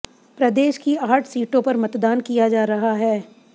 प्रदेश की आठ सीटों पर मतदान किया जा रहा है